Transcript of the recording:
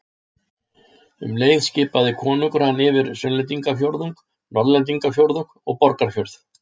Um leið skipaði konungur hann yfir Sunnlendingafjórðung, Norðlendingafjórðung og Borgarfjörð.